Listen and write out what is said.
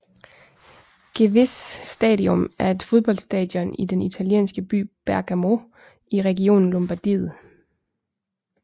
Gewiss Stadium er et fodboldstadion i den italienske by Bergamo i regionen Lombardiet